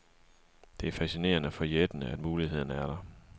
Det er fascinerende og forjættende, at mulighederne er der.